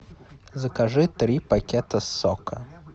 закажи три пакета сока